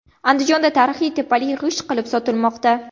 Andijonda tarixiy tepalik g‘isht qilib sotilmoqda .